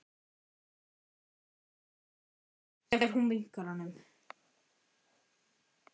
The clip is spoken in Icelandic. Finnur ekki til ógleði þegar hún vinkar honum.